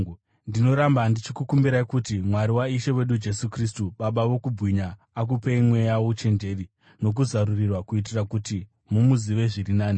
Ndinoramba ndichikumbira kuti Mwari waIshe wedu Jesu Kristu, Baba vokubwinya, akupei mweya wouchenjeri nokuzarurirwa, kuitira kuti mumuzive zviri nani.